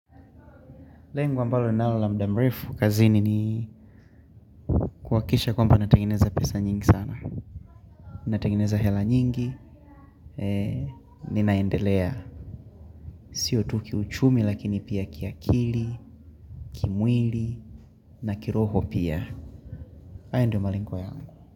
Lengo ambalo ninalo la muda mrefu kazini ni kuhakikisha kwamba natengeneza pesa nyingi sana. Natengeneza hela nyingi. Ninaendelea. Sio tu kiuchumi lakini pia kiakili. Kimwili na kiroho pia haya ndio malengo yangu.